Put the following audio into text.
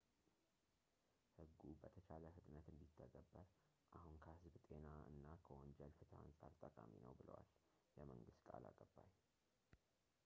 "ሕጉ በተቻለ ፍጥነት እንዲተገበር አሁን ከህዝብ ጤና እና ከወንጀል ፍትህ አንፃር ጠቃሚ ነው ብለዋል የመንግሥት ቃል አቀባይ፡፡